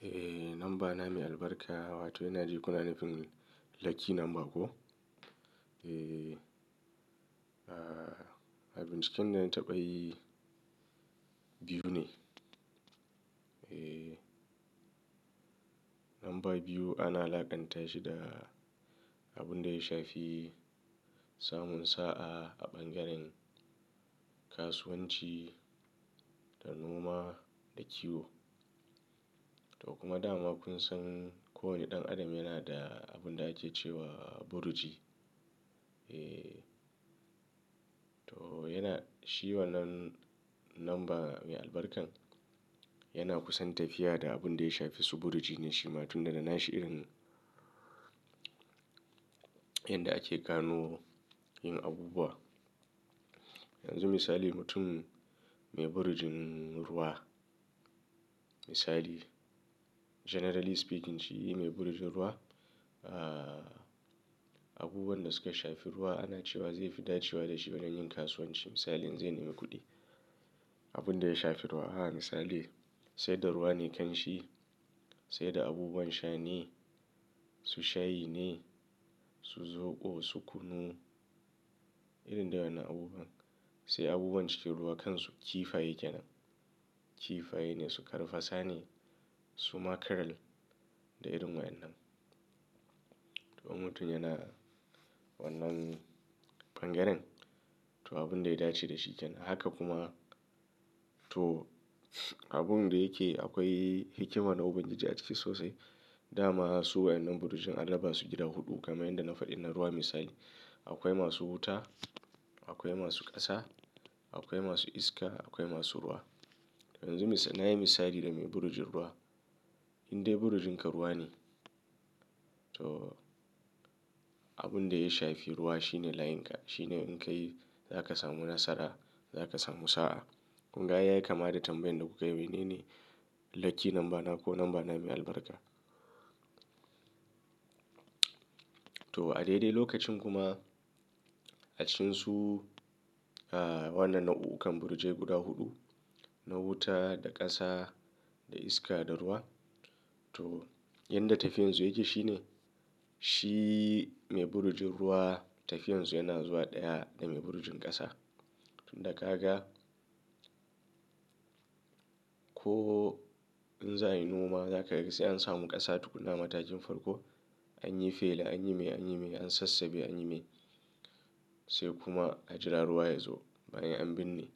Eh, lamba na mai albarka wato ina ji kuna nufin lucky number ko? Eh, abin ciken da na taɓa yi biyu ne. Eh, lamba biyu ana alaƙanta shi da abun da ya shafi samun sa'a a ɓangaren kasuwanci da noma da kiwo. To kuma dama kun san kowane ɗan adam yana da abin da ake cewa burji. Eh, to yana, shi wannan lamba mai albarkan yana kusan tafiya da abun da ya shafi su burji ne shi ma tunda da na sha'ir in yanda ake gano yin abubuwa. Yanzu misali mutum mai burjin ruwa, misali generally speaking shi mai burjin ruwa, abubuwan da suka shafi ruwa ana cewa zai fi dacewa da shi bayan yin kasuwanci. Misali in zai nemi kuɗi, abun da ya shafi ruwa. Haka misali sai da ruwa ne kanshi, sai da abubuwan sha ne, su shayi ne, su zoɓo, su kunu irin dai wannan abubuwan. Sai abubuwan cikin ruwa kan su kifaye kenan. Kifaye ne su karfasa ne, su makarel da irin wa'annan. To mutum yana wannan ɓangaren to abun da ya dace da shi kenan. Haka kuma to abun da yake akwai hikima na ubangiji a ciki sosai. Da ma su wa'annan burjin adaba su jira huɗu kamar yadda na faɗi na ruwa misali. Akwai masu wuta, akwai masu ƙasa, akwai masu iska, akwai masu ruwa. Yanzu na yi misali da mai burjin ruwa. In dai burjinka ruwa ne to abun da ya shafi ruwa shine layinka. Shi ne in ka yi za ka samu nasara, za ka samu sa'a. Kunga aiyayi kama da tambayan da kuka yi wanene lucky namba na ko lamba na mai albarka. To a daidai lokacin kuma a cikin su, wannan na'ukkakan burje guda huɗu, na wuta da ƙasa da iska da ruwa. To yadda tafiyan su yake shine, shi mai burjin ruwa tafiyan su yana zuwa ɗaya da mai burjin ƙasa. Tunda kaga ko in za a yi noma za ka ga sai an samu ƙasa tukunn a matakin farko. An yi fela, an yi mai, an yi mai, an sassabe, an yi mai. Sai kuma a jira ruwa ya zo bayan an binne.